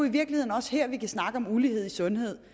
i virkeligheden også her vi kan snakke om ulighed i sundhed